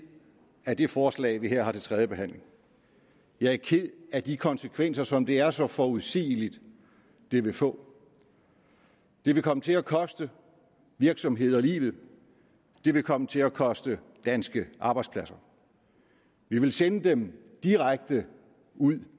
af det forslag vi her har til tredje behandling jeg er ked af de konsekvenser som det er så forudsigeligt at det vil få det vil komme til at koste virksomheder livet det vil komme til at koste danske arbejdspladser vi vil sende dem direkte ud